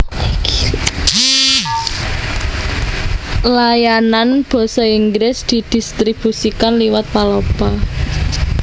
Layanan basa Inggris didistribusikan liwat Palapa